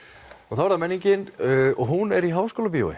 þá er það menningin og hún er í Háskólabíói